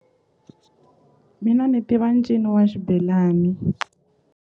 Mina ni tiva ncino wa xibelani.